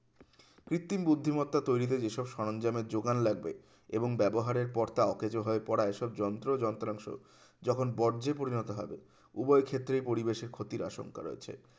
কৃত্রিম বুদ্ধিমত্তা তৈরিতে যেসব সরঞ্জামের যোগান লাগবে এবং ব্যবহারের পর তা অকেজো হয়ে পড়া এসব যন্ত্র যন্ত্রাংশ যখন বর্জ্যে পরিণত হবে উভয় ক্ষেত্রেই পরিবেশের ক্ষতির আশঙ্কা রয়েছে